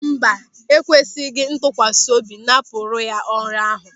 Mba, ekwesịghị ntụkwasị obi napụrụ ya ọrụ ahụ.